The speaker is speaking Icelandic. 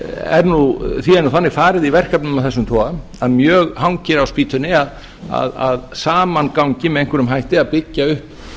er nú þannig farið í verkefnum af þessum toga að mjög hangir á spýtunni að saman gangi með einhverjum hætti að byggja upp